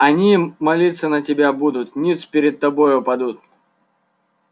они молиться на тебя будут ниц пред тобою падут